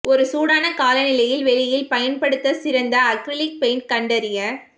ஒரு சூடான காலநிலையில் வெளியில் பயன்படுத்த சிறந்த அக்ரிலிக் பெயிண்ட் கண்டறிய